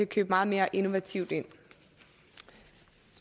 købe meget mere innovativt ind